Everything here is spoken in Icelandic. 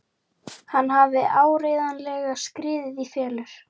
Hann hafði áreiðanlega skriðið í felur.